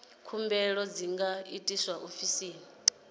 khumbelo dzi nga itwa ofisini